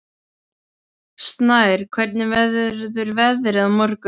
Snær, hvernig verður veðrið á morgun?